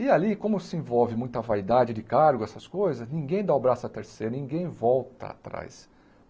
E ali, como se envolve muita vaidade de cargo, essas coisas, ninguém dá o braço à torcer, ninguém volta atrás.